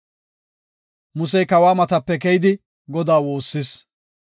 Musey kawa matape keyidi Godaa woossis.